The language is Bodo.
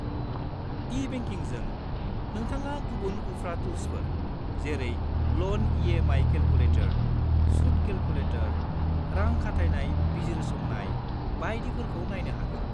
ई-बेंकिंजों, नोंथाङा गुबुन उफ्रा टुल्सफोर, जेरै ल'न इ.एम.आइ. केलकुलेटर, सुत केलकुलेटर, रां खाथायनाय बिजिरसंनाय बायदिफोरखौ नायनो हागोन।